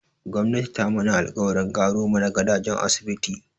Gwamnati ta mana alƙawarin ƙaro mana gadajen asibiti